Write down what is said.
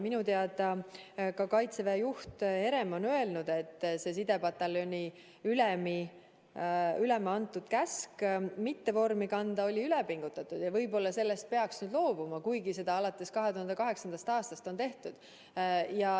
Minu teada on ka Kaitseväe juhataja Herem öelnud, et see sidepataljoni ülema antud käsk mitte vormi kanda oli üle pingutatud ja et võib-olla peaks sellest nüüd loobuma, kuigi seda alates 2008. aastast on tehtud.